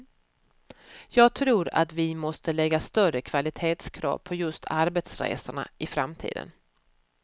Jag tror att vi måste lägga större kvalitetskrav på just arbetsresorna i framtiden.